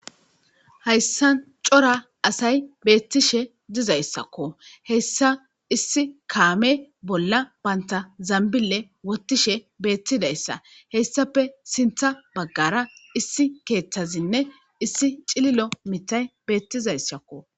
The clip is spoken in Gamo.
Hayssan cora asay beettishe dizayssakko, hessa issi kaame bolla banta zambile wottishe beettidayssa hessape sintha baggara issi keeththazinne issi cililo mithay beettizayssakko.